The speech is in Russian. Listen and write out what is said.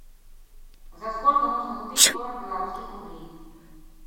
за сколько можно купить сорок белорусских рублей